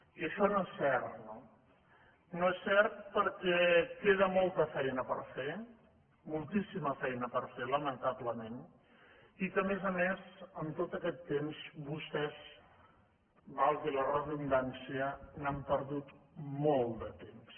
i això no és cert no no és cert perquè queda molta feina per fer moltíssima feina per fer lamentablement i a més a més en tot aquest temps vostès valgui la redundància n’han perdut molt de temps